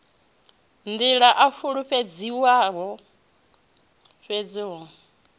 nḓila a fulufhedzisaho fhedzi hu